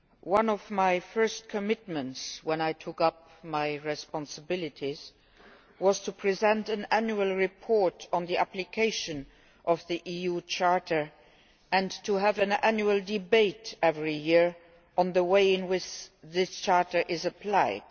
One of my first commitments when I took up my responsibilities was to present an annual report on the application of the EU Charter and to have an annual debate every year on the way in which this Charter is applied.